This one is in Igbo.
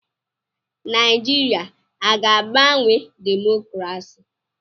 Naịjirịa aga-agbanwe demokrasi?